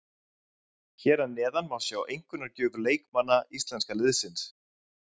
Hér að neðan má sjá einkunnagjöf leikmanna íslenska liðsins.